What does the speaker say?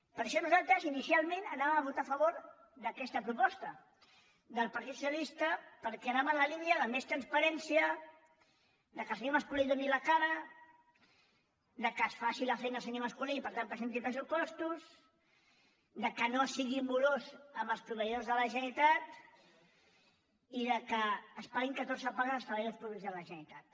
per això nosaltres inicialment anàvem a votar a favor d’aquesta proposta del partit socialista perquè anava en la línia de més transparència que el senyor mas·colell doni la cara que faci la feina el senyor mas·colell i per tant presenti pressupostos que no sigui morós amb els proveïdors de la generalitat i que es paguin ca·torze pagues als treballadors públics de la generalitat